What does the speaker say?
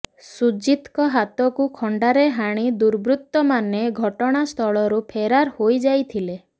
ସୁଜିତଙ୍କ ହାତକୁ ଖଣ୍ଡାରେ ହାଣି ଦୁର୍ବୃତ୍ତମାନେ ଘଟଣାସ୍ଥଳରୁ ଫେରାର ହୋଇଯାଇଥିଲେ